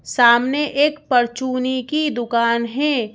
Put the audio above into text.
सामने एक परचुनी की दुकान है।